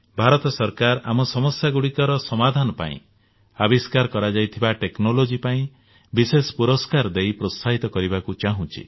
ଭାରତ ସରକାର ଆମ ସମସ୍ୟାଗୁଡିକର ସମାଧାନ ପାଇଁ ଆବିଷ୍କାର କରାଯାଇଥିବା ଟେକ୍ନୋଲୋଜି ପାଇଁ ବିଶେଷ ପୁରସ୍କାର ନେଇ ପ୍ରୋତ୍ସାହିତ କରିବାକୁ ଚାହୁଁଛି